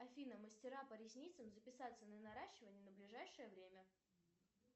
афина мастера по ресницам записаться на наращивание на ближайшее время